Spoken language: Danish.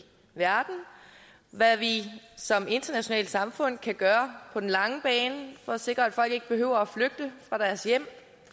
verden hvad vi som internationalt samfund kan gøre på den lange bane for at sikre at folk ikke behøver at flygte fra deres hjem